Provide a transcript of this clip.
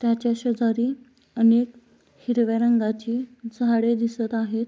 त्याच्या शेजारी अनेक हिरव्या रंगाची झाडे दिसत आहेत.